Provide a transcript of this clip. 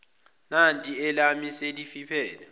nanti elami selifiphele